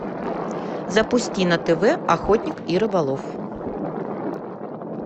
запусти на тв охотник и рыболов